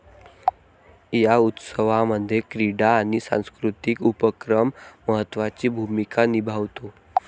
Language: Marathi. या उत्सवामध्ये क्रीडा आणि सांस्कृतिक उपक्रम महत्वाची भूमीका निभावतो.